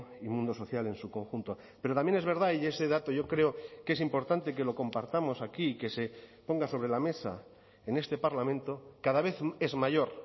y mundo social en su conjunto pero también es verdad y ese dato yo creo que es importante que lo compartamos aquí que se ponga sobre la mesa en este parlamento cada vez es mayor